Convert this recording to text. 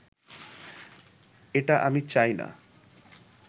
এটা আমি চাই না